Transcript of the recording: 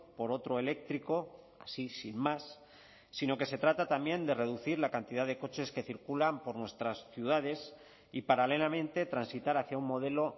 por otro eléctrico así sin más sino que se trata también de reducir la cantidad de coches que circulan por nuestras ciudades y paralelamente transitar hacia un modelo